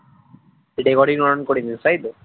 recording on করিস নি তাই তো?